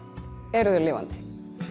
eru þau lifandi